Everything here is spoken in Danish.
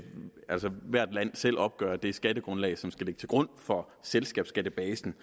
hvert land selv opgør det skattegrundlag som skal ligge til grund for selskabsskattebasen